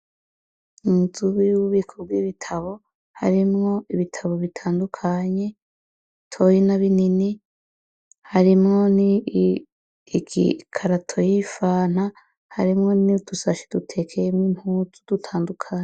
Inzubi y'uwubiko bw'ibitabo harimwo ibitabo bitandukanye toyina binini harimwo ni igikarato yifana harimwo ni dusashi dutekeyemwo imputu dutandukanye.